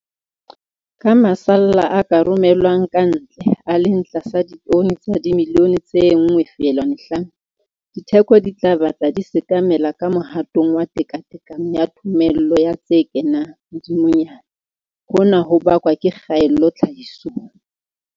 Ka masalla a ka romellwang ka ntle, a leng tlasa ditone tsa dimilione tse 1, 5, ditheko di tla batla di sekamela ka mohatong wa tekatekano ya thomello ya tse kenang, hodimonyana, hona ho bakwa ke kgaello tlhahisong.